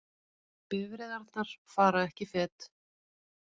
Bifreiðarnar fara ekki fet